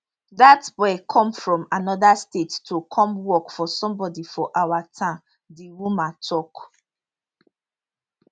dat boy come from anoda state to come work for somebody for our town di woman tok